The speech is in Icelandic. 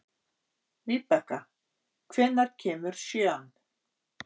Víbekka, hvenær kemur sjöan?